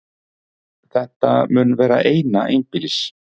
Þetta mun vera eina einbýlis